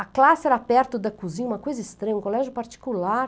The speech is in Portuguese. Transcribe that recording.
A classe era perto da cozinha, uma coisa estranha, um colégio particular.